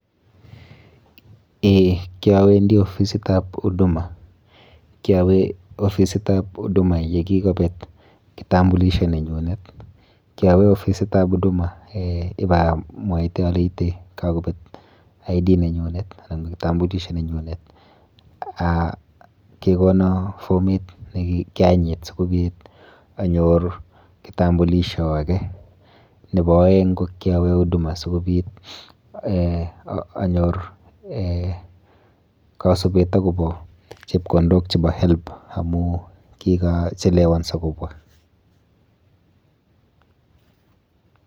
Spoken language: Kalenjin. Eh. Kiawendi ofisitap Huduma. Kiawe ofisitap Huduma yekikobet kitambulisho nenyunet. Kiawe ofisitab Huduma eh ibamwaite aleite kakobet idendity card nenyunet anan kitambulisho nenyunet, ah kekono fomit nekianyit sikobit anyor kitambulisho ake. Nepo oeng ko kiawe Huduma sikobit eh anyor eh kasubet akopo chepkondokap Higher Education Loans Board amu kikachelewanso kobwa.